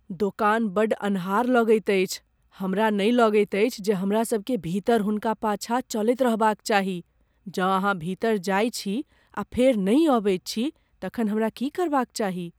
दोकान बड्ड अन्हार लगैत अछि। हमरा नहि लगैत अछि जे हमरासभकेँ भीतर हुनका पाछा चलैत रहबाक चाही। जँ अहाँ भीतर जाइत छी आ फेर नहि अबैत छी तखन हमरा की करबाक चाही?